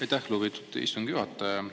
Aitäh, lugupeetud istungi juhataja!